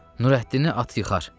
Nurəddini at yıxar.